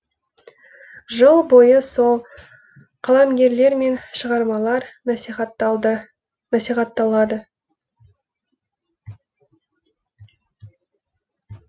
жыл бойы сол қаламгерлер мен шығармалар насихатталады